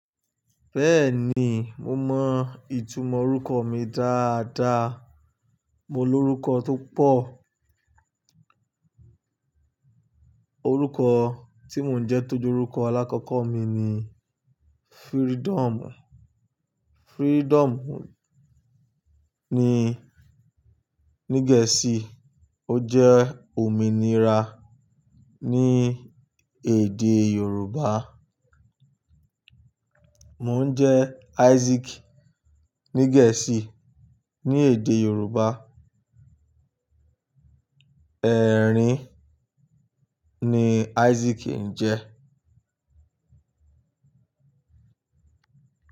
Bẹ́ẹ̀ni, mo mọ ìtumọ̀ orúkọ mi dáadáa. Mo ní orúkọ tó pọ̀. Orúkọ tí mò ń jẹ́ tó jẹ́ orúkọ alákọ́kọ́ mi ni Freedom. Freedom ní gẹ̀ẹ́sì ó jẹ́ òmìnira ní èdè yorùbá. Mò ń jẹ́ Isaac ní Gẹ̀ẹ́sì, ní èdè Yorùbá ẹ̀rín ni Isaac ń jẹ́.